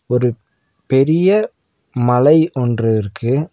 ஒரு பெரிய மலை ஒன்று இருக்கு.